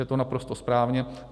Je to naprosto správně.